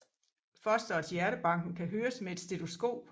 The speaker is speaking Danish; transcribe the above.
Fosterets hjertebanken kan høres med et stetoskop